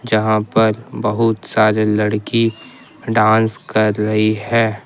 यहां पर बहुत सारे लड़की डांस कर रही है।